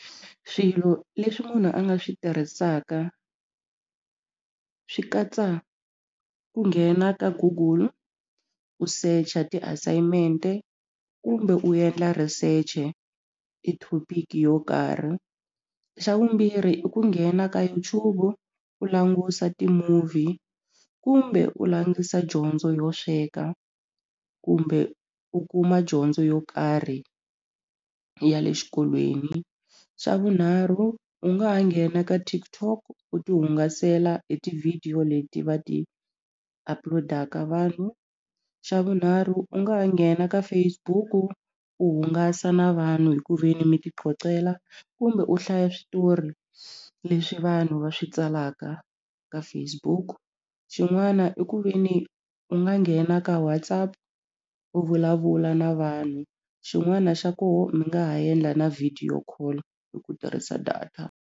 Swilo leswi munhu a nga swi tirhisaka swi katsa ku nghena ka google u search-a ti-assignment-e kumbe u endla research-e i thopiki yo karhi xa vumbirhi i ku nghena ka YouTube u langusa ti-movie kumbe u langusa dyondzo yo sweka kumbe u kuma dyondzo yo karhi ya le xikolweni xa vunharhu u nga ha nghena ka TikTok u ti hungasela hi ti-video leti va ti upload-aka vanhu xa vunharhu u nga ha nghena ka Facebook u hungasa na vanhu hi ku ve ni mi titlotlela kumbe u hlaya switori leswi vanhu va swi tsalaka ka Facebook xin'wana i ku ve ni u nga nghena ka WhatsApp u vulavula na vanhu xin'wana xa koho mi nga ha yendla na video call hi ku tirhisa data.